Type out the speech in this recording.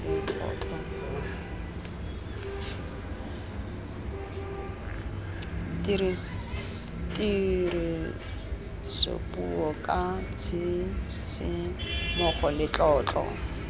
tirisopuo ka tshisimogo le tlotlo